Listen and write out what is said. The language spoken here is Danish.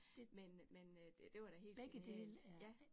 Men men det var da helt genialt ja